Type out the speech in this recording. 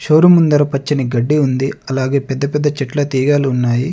Showroom ముందర పచ్చని గడ్డి ఉంది అలాగే పెద్ద పెద్ద చెట్ల తీగలు ఉన్నాయి.